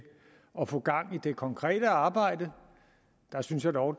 at få gang i det konkrete arbejde der synes jeg dog